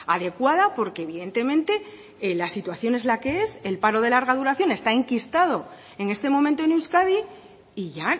adecuada porque evidentemente la situación es la que es el paro de larga duración está enquistado en este momento en euskadi y ya